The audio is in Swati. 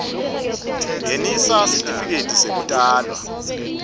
ngenisa sitifiketi sekutalwa